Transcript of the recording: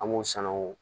An b'u sanuya